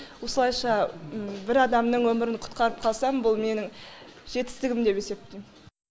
осылайша бір адамның өмірін құтқарып қалсам бұл менің жетістігім деп есептейм